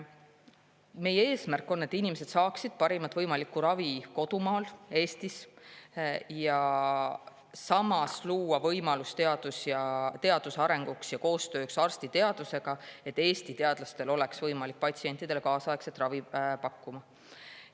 Meie eesmärk on, et inimesed saaksid parimat võimalikku ravi kodumaal, Eestis, ja samas on eesmärk luua võimalus teaduse arenguks ja koostööks, et Eesti teadlastel oleks võimalik patsientidele kaasaegset ravi pakkuda.